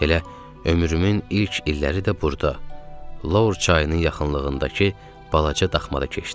Elə ömrümün ilk illəri də burda Lor çayının yaxınlığındakı balaca daxmada keçdi.